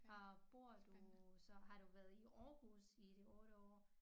Har bor du så har du været i Aarhus i de 8 år